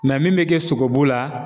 min mɛ kɛ sogobu la